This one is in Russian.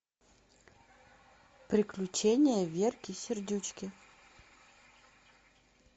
приключения верки сердючки